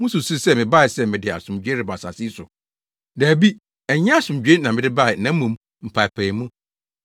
Mususuw sɛ mebae sɛ mede asomdwoe reba asase yi so? Dabi! Ɛnyɛ asomdwoe na mede bae na mmom mpaapaemu.